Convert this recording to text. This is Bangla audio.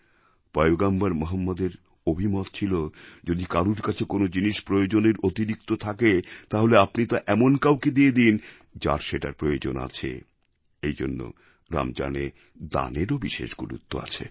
পয়গম্বর মহম্মদের অভিমত ছিল যদি কারুর কাছে কোন জিনিস প্রয়োজনের অতিরিক্ত থাকে তাহলে আপনি তা এমন কাউকে দিয়ে দিন যার সেটার প্রয়োজন আছে এইজন্য রমজানে দানেরও বিশেষ গুরুত্ব আছে